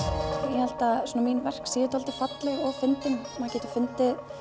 ég held að mín verk séu svolítið falleg og fyndin maður getur fundið